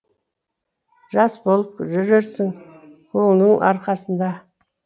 жас болып жүрерсің көңіліңнің арқасында